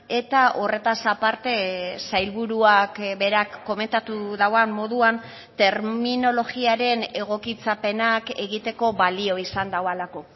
eta horretaz aparte sailburuak berak komentatu duen moduan terminologiaren egokitzapenak egiteko balio izan duelako